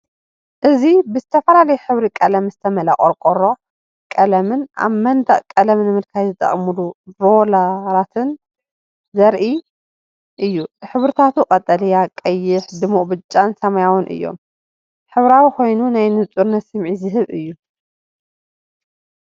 እዚ ብዝተፈላለየ ሕብሪ ቀለም ዝተመልአ ቆርቆሮ ቀለምን ኣብ መንደቕ ቀለም ንምልካይ ዝጥቀሙሉ ሮለራትን ዘርኢ እዩ። ሕብርታቱ ቀጠልያ፡ ቀይሕ፡ ድሙቕ ብጫን ሰማያውን እዮም። ሕብራዊ ኮይኑ ናይ ንጹርነት ስምዒት ዝህብ እዩ!